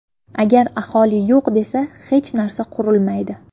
Agar aholi yo‘q desa, hech narsa qurilmaydi.